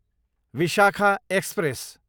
Vishakha express